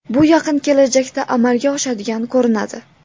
Bu yaqin kelajakda amalga oshadigan ko‘rinadi.